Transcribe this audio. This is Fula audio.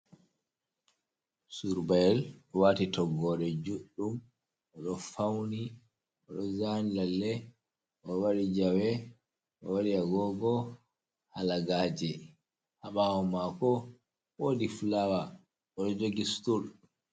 Surbyel oɗo wati toggyel juɗɗum, oɗo fauni, oɗo zani lalle, oɗo waɗi jawe, oɗo waɗi agogo hala gaje, ha ɓawo mako wodi fulaawa oɗo jogi sutul.